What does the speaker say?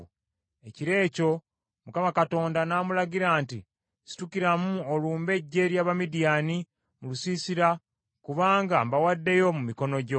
Ekiro ekyo Mukama Katonda n’amulagira nti, “Situkiramu olumbe eggye ly’Abamidiyaani mu lusiisira kubanga mbawaddeyo mu mikono gyo.